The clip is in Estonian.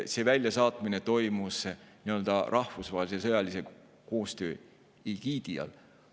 See väljasaatmine toimus rahvusvahelise sõjalise koostöö egiidi all.